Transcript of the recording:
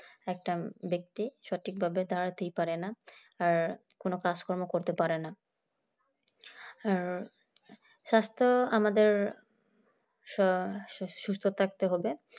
একটা ব্যক্তি সঠিক ভাবে দাঁড়াতেই পারেননা আর কোনো কাজ কর্ম করতেই পারেনা আর স্বাস্থ আমাদের স্ব সুস্থ থাকতে হবে